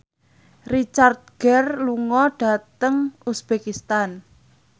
Richard Gere lunga dhateng uzbekistan